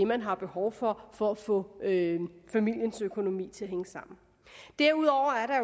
man har behov for for at få familiens økonomi til at hænge sammen derudover er